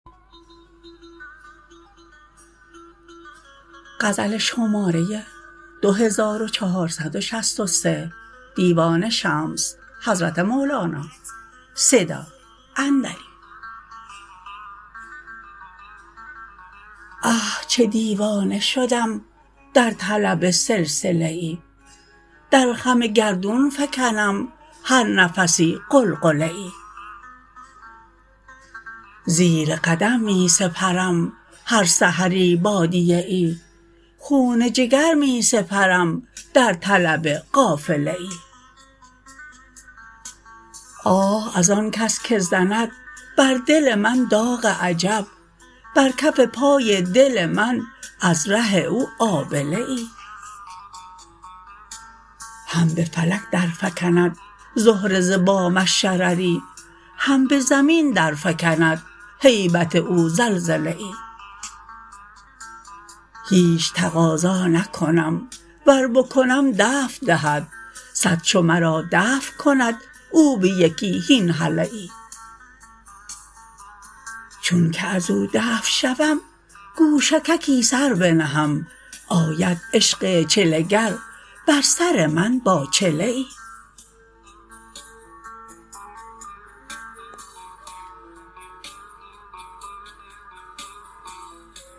آه چه دیوانه شدم در طلب سلسله ای در خم گردون فکنم هر نفسی غلغله ای زیر قدم می سپرم هر سحری بادیه ای خون جگر می سپرم در طلب قافله ای آه از آن کس که زند بر دل من داغ عجب بر کف پای دل من از ره او آبله ای هم به فلک درفکند زهره ز بامش شرری هم به زمین درفکند هیبت او زلزله ای هیچ تقاضا نکنم ور بکنم دفع دهد صد چو مرا دفع کند او به یکی هین هله ای چونک از او دفع شوم گوشگکی سر بنهم آید عشق چله گر بر سر من با چله ای